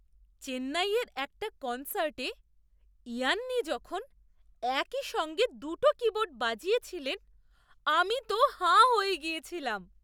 চেন্নাইয়ের একটা কনসার্টে ইয়ান্নি যখন একই সঙ্গে দুটো কীবোর্ড বাজিয়েছিলেন, আমি তো হাঁ হয়ে গিয়েছিলাম!